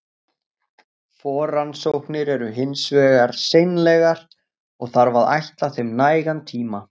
Forrannsóknir eru hins vegar seinlegar, og þarf að ætla þeim nægan tíma.